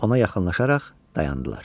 Ona yaxınlaşaraq dayandılar.